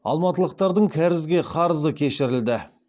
алматылықтардың кәрізге қарызы кешірілді